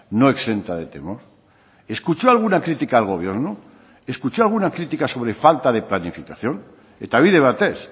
no exenta de temor escuchó alguna crítica al gobierno escuchó alguna crítica sobre falta de planificación eta bide batez